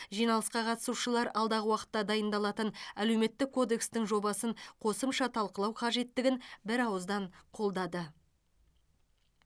жиналысқа қатысушылар алдағы уақытта дайындалатын әлеуметтік кодекстің жобасын қосымша талқылау қажеттігін бір ауыздан қолдады